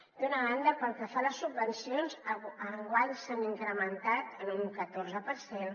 d’una banda pel que fa a les subvencions enguany s’han incrementat en un catorze per cent